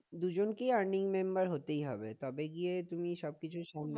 দুজনকে earning member member হতেই হবে তবে গিয়ে তুমি সবকিছু সামলাতে